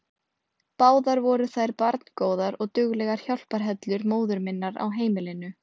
Báðar voru þær barngóðar og duglegar hjálparhellur móður minnar á heimilinu.